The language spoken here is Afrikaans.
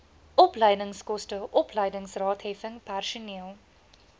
opleidingskoste opleidingsraadheffing personeel